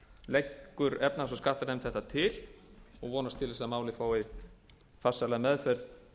leggur efnahags og skattanefnd þetta til og vonast til að málið að farsæla meðferð